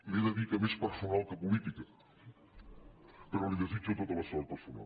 li he de dir que més personal que política però li de·sitjo tota la sort personal